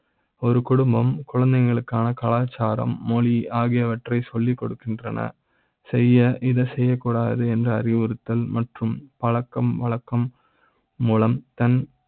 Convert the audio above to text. ஒரு குடும்பம் குழந்தைகளுக்கான கலாச்சார ம், மொழி ஆகியவற்றை சொல்லி கொடுக்கின்றன. செய்ய இத செய்ய க்கூடாது என்று அறிவுறுத்தல் மற்றும் பழக்கம் வழக்க ம் மூலம் தன்